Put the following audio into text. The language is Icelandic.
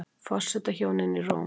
Forsetahjónin í Róm